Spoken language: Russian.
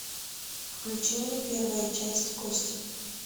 включи мне первая часть кости